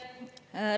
Aitäh!